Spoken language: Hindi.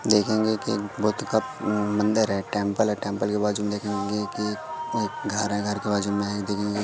देखेंगे की बुद्ध का उम् मंदिर है टेंपल है टेंपल के बाजू में देखेंगे कि अ घर है घर के बाजू में --